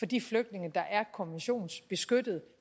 de flygtninge der er konventionsbeskyttede